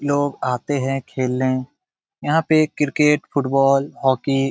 लोग आते हैं खेलने यहाँ पे क्रिकेट फुटबॉल हॉकी --